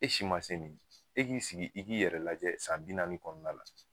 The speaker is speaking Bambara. E si ma se nin ye. E k'i sigi i k'i yɛrɛ lajɛ san bi naani kɔnɔna la .